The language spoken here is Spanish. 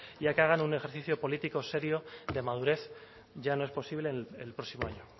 y que hagan un ejercicio político serio de madurez ya no es posible el próximo año